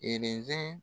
Elenzɛ